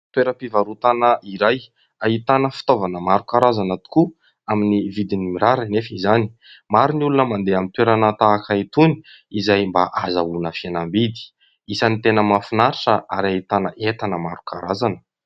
Toeram-pivarotana iray ahitana fitaovana maro karazana tokoa amin'ny vidiny mirary anefa izany. Maro ny olona mandeha amin'ny toerana tahaka itony izay mba hahazoana fihenam-bidy ; isan'ny tena mahafinaritra ary ahitana entana maro karazana.